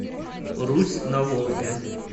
русь на волге